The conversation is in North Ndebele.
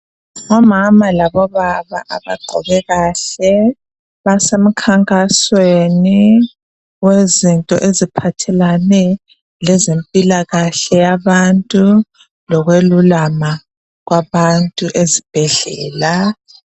ngomama labo baba abagqoke kahle basemkhankasweni wezinto eziphathelane lezempilakahle yabantu lokwelulama kwabantu esibhedlela